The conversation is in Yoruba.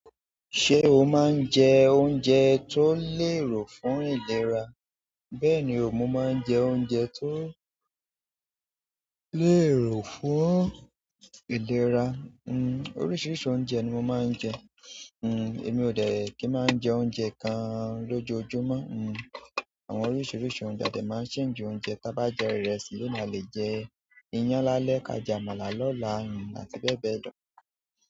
Ṣé o máa ń jẹ oúnjẹ tó lérò fún ìlera? Bẹ́ẹ̀ni, mo máa ń jẹ oúnjẹ tó lérò fún ìlera. Hmm, oríṣiríṣi oúnjẹ ni mo máa ń jẹ. Uh, emi o dẹ ki n maa n jẹ oúnjẹ kan lojoojumọ uh àwọn oríṣiríṣi oúnjẹ a dẹ maa n change oúnjẹ. Taa bá jẹ ìrẹsì loni a lè jẹ iyán lálẹ́, ka jamọ̀la lọ́la àti bẹ́ẹ̀ bẹ́ẹ̀ lọ.